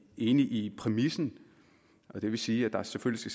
enige i præmissen og det vil sige at der selvfølgelig